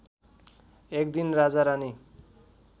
एकदिन राजारानी